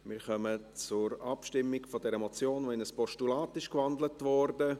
Wir kommen zur Abstimmung über diese Motion, die in ein Postulat gewandelt wurde.